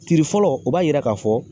Tiiri fɔlɔ u b'a yira k'a fɔ